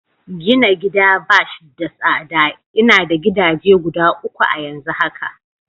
Gina gida bash da tsada, ina da gidaje guda uku a'yanzu haka.